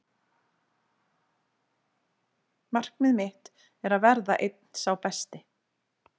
Markmið mitt er að verða einn sá besti.